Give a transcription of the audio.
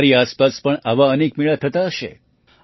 તમારી આસપાસ પણ આવા અનેક મેળા થતા હશે